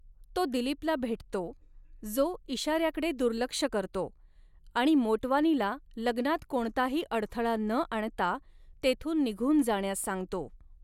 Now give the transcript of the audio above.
तो दिलीपला भेटतो, जो इशाऱ्याकडे दुर्लक्ष करतो आणि मोटवानीला लग्नात कोणताही अडथळा न आणता तेथून निघून जाण्यास सांगतो.